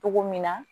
Cogo min na